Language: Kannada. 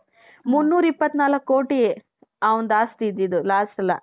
ಮುನ್ನೂರ ಇಪ್ಪತ್ನಾಲ್ಕು ಕೋಟಿ ಅವನದ್ದು ಆಸ್ತಿ ಇದ್ದದ್ದು lastಎಲ್ಲಾ